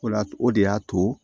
O la o de y'a to